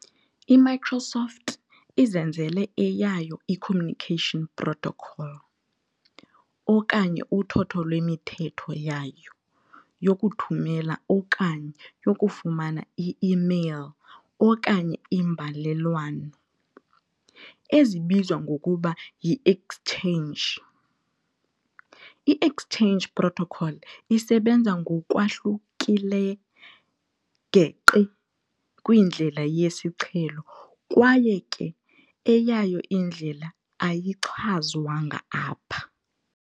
I-Microsoft izenzele eyayo i-"communication protocol", okanye uthotho lwemithetho yayo, yokuthumela okanye yokufumana i-mail okanye imbalelwano, ezizwa ngokuba yi-"Exchange". I-exchange protocol isebenza ngokwahlukile geqe kwindlela yesiqhelo kwaye ke eyayo indlela ayichazwanga apha.